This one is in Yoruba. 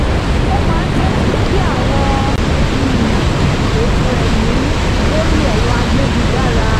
ó máa ń tẹ́tí sí àwọn um ètò ẹ̀mí lórí ẹ̀rọ ayélujára